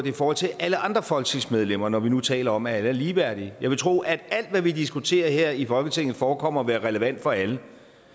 i forhold til alle andre folketingsmedlemmer når vi nu taler om at alle er ligeværdige jeg vil tro at alt hvad vi diskuterer her i folketinget forekommer at være relevant for alle